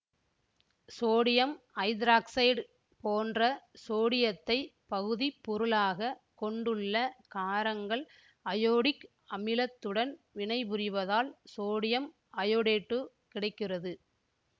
sodium hydroxide போன்ற சோடியத்தைப் பகுதிப்பொருளாகக் கொண்டுள்ள காரங்கள் அயோடிக் அமிலத்துடன் வினைபுரிவதால் சோடியம் அயோடேட்டு கிடைக்கிறது